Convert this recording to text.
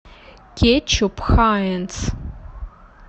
кетчуп хайнц